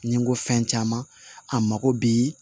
Ni n ko fɛn caman a mako bɛ